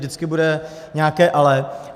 Vždycky bude nějaké ale.